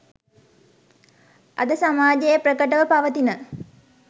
අද සමාජයේ ප්‍රකටව පවතින